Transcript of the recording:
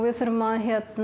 við þurfum að